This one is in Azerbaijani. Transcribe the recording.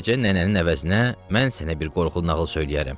Bu gecə nənənin əvəzinə mən sənə bir qorxulu nağıl söyləyərəm.